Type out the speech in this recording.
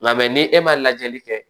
Nka ni e ma lajɛli kɛ